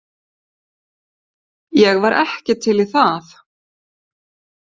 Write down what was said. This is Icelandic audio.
Ég var ekki til í það.